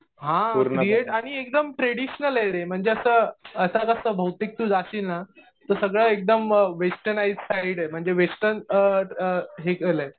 हा क्रिएट आणि एकदम ट्रेडिशनल आहे रे. म्हणजे असं आता कसं बहुतेक तु जाशील ना तर सगळं एकदम वेस्टनाईज साईड आहे. म्हणजे वेस्टर्न हे केलंय.